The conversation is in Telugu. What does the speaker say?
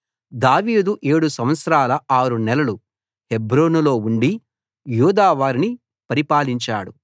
దావీదు ఏడు సంవత్సరాల ఆరు నెలలు హెబ్రోనులో ఉండి యూదా వారిని పరిపాలించాడు